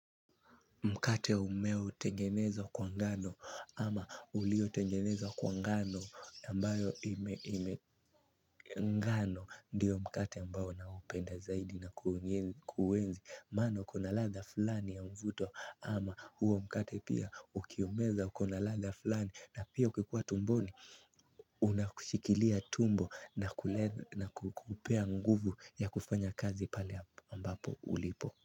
Mkate umeo tengeneza kwa ngano ama uliotengenezwa kwa ngano ambayo ime ngano ndio mkate ambao naupenda zaidi na kuenzi. Maana ukona ladha fulani ya mvuto ama huo mkate pia ukiumeza ukona ladha fulani na pia ukikua tumboni Unakushikilia tumbo na kukupea nguvu ya kufanya kazi pale ambapo ulipo.